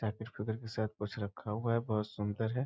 Packet कुछ रखा हुआ है बहुत सुंदर है।